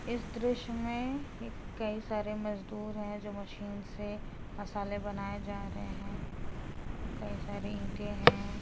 इस दृश्य मे कई सारे मजदूर हैं जो मशीन से मसाले बनाए जा रहे हैं। कई सारे ईटें हैं।